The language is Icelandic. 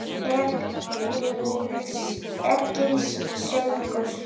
Egils sögu.